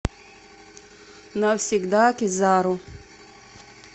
навсегда кизару